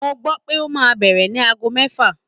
Mo gbọ́ pé ó máa bẹ̀rẹ̀ ní ago mẹ́fà.